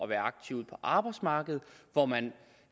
er aktiv på arbejdsmarkedet og hvor man